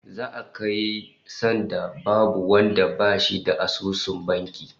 Za'a kai sanda babu wanda bashi da asusun banki